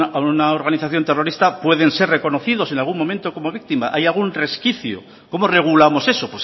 a una organización terrorista pueden ser reconocidos en algún momento como víctima hay algún resquicio cómo regulamos eso